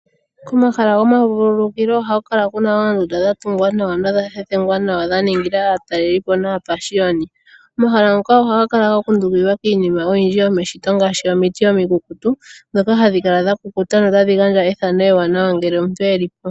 Komahala gomavulukilo ohaku kala kuna oondunda dhatungwa nawa nodha thethengwa nawa dhaningila aatalelipo naa pashiyoni ,omahala ngoka ohaga kala gakundukidhwa kiinima oyindjini yomeshito ngaashi omiti omikukutu ndhoka hadhi kala dha kukuta notadhi gandja ethano ewanawa ngele omuntu elipo.